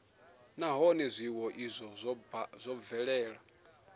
nahone zwiwo izwo zwo bvelela